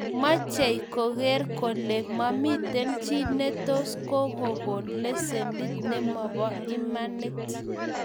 mechei kogeer kole mamiten chi netos kogogoon lesenit nemobo imanit